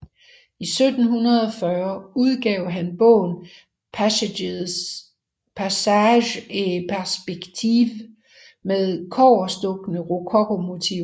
I 1740 udgav han bogen Paysages et Perspectives med kobberstukne rokokomotiver